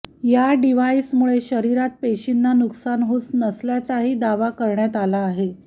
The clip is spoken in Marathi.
या डिव्हाईसमुळे शरीरात पेशींना नुकसान होत नसल्याचाही दावा करण्यात आला आहे